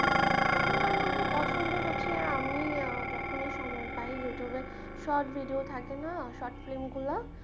পছন্দ হচ্ছে আমি যখনই সময় পাই youtube এ short video থাকে না short film গুলা